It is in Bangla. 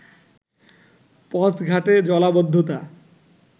পথঘাটে জলাবদ্ধতা